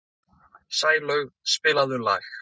Sælaug, spilaðu lag.